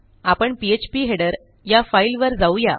आपण PHP header या फाईलवर जाऊ या